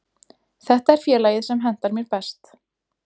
Þetta er félagið sem hentar mér best.